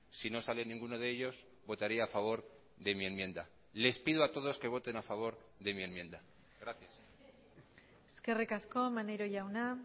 si no sale ninguno de ellos votaría a favor de mi enmienda les pido a todos que voten a favor de mi enmienda gracias eskerrik asko maneiro jauna